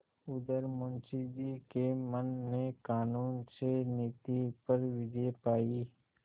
उधर मुंशी जी के मन ने कानून से नीति पर विजय पायी